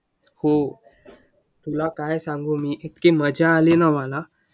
हो तुला काय सांगू मी? इतकी मज्जा आली ना मला.